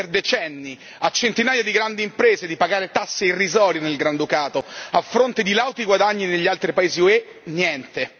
permesso per decenni a centinaia di grandi imprese di pagare tasse irrisorie nel Granducato, a fronte di lauti guadagni negli altri paesi UE niente!